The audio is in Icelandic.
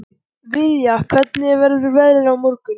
Viðja, hvernig verður veðrið á morgun?